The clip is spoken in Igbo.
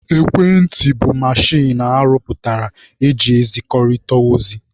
Ekwentị bụ mechin arụ pụtara eji ezikọrịta ozi.